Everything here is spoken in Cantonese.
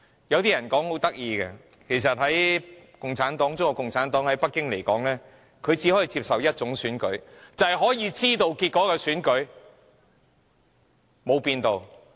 有些人說得很有趣，指中國共產黨只能接受一種選舉，便是可以預知結果的選舉，多年未變。